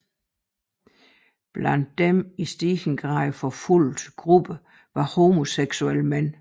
Blandt de i stigende grad forfulgte grupper var homoseksuelle mænd